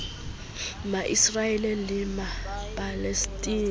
ma israel le ma palestina